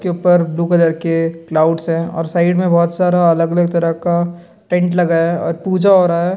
के ऊपर blue colour के क्लाउड्स है और साइड में बहुत सारा अलग-अलग तरह का टेंट लगा है और पूजा हो रहा है।